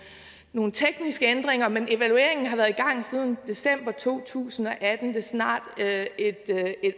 nogle tekniske ændringer men evalueringen har været i gang siden december to tusind og atten det er snart et